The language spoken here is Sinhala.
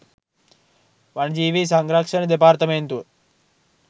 වනජීවී සංරක්ෂණ දෙපාර්තමේන්තුව